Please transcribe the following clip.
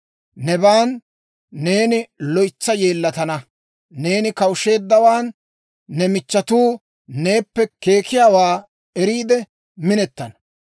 Nebaan neeni loytsa yeellatana; neeni kawusheeddawaan, ne michchetuu neeppe keekiyaawaa eriide minetana.